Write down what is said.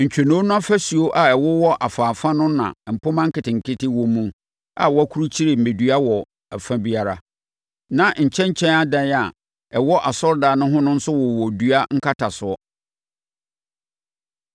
Ntwonoo no afasuo a ɛwowɔ afa afa no na mpomma nketenkete wɔ mu a wɔakurukyire mmɛdua wɔ afa biara. Na nkyɛnkyɛn adan a ɛwɔ asɔredan no ho nso wowɔ dua nkatasoɔ.